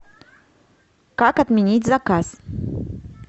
как отменить заказ